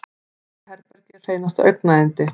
Þetta herbergi er hreinasta augnayndi.